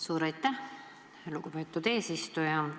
Suur aitäh, lugupeetud eesistuja!